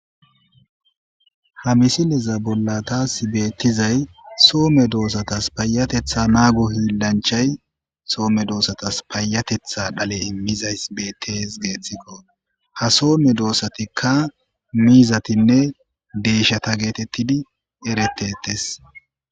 Ha misileza bola tasi betizayi Soho medosatasi payateththa naggo hilayi woyikko hilanichayi Soho medosatasi payateththa dhale imizayisi beteesi geththikko ha Soho medosatikka mizatinne deyisheta getetidi eretetesi